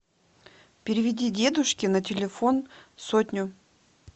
переведи дедушке на телефон сотню